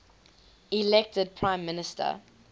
elected prime minister